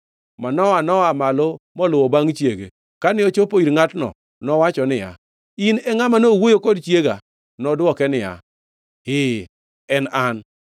Manoa no-aa malo moluwo bangʼ chiege. Kane ochopo ir ngʼatno, nowacho niya, “In e ngʼama nowuoyo kod chiega?” Nodwoke niya, “Ee, en an.”